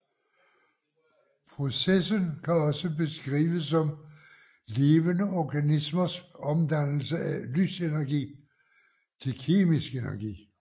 Processen kan også beskrives som levende organismers omdannelse af lysenergi til kemisk energi